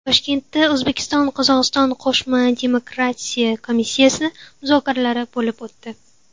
Toshkentda O‘zbekistonQozog‘iston qo‘shma demarkatsiya komissiyasi muzokaralari bo‘lib o‘tdi.